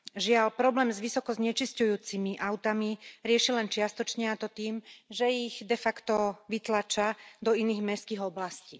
Žiaľ, problém s vysoko znečisťujúcimi autami riešia len čiastočne, a to tým, že ich de facto vytláčajú do iných mestských oblastí.